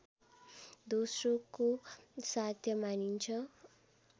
दोस्रोको साध्य मानिन्छ